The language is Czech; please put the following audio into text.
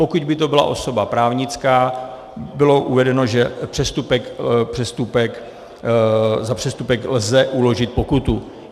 Pokud by to byla osoba právnická, bylo uvedeno, že za přestupek lze uložit pokutu.